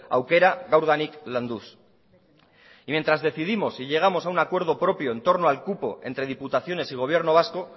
aukera gaurdanik landuz y mientras decidimos si llegamos a un acuerdo propio entorno al cupo entre diputaciones y gobierno vasco